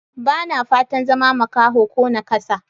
Ba na fatan zama makaho ko naƙasa.